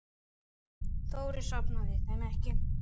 Þórir safnaði þeim ekki.